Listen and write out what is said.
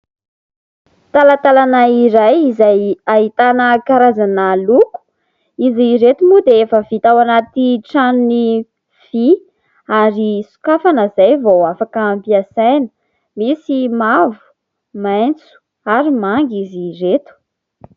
Talantalana iray izay ahitana karazana loko. Izy ireto moa dia efa vita ao anaty tranony vy ary sokafana izay vao afaka ampiasaina. Misy mavo, maitso ary manga izy ireto.